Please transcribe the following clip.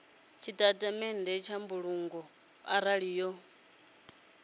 tshitatamennde tsha mbulungo arali yo